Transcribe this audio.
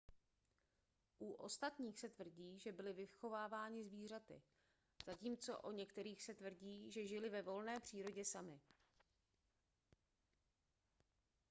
u ostatních se tvrdí že byli vychováváni zvířaty zatímco o některých se tvrdí že žili ve volné přírodě sami